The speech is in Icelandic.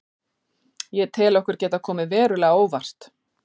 Ég tel okkur geta komið verulega á óvart.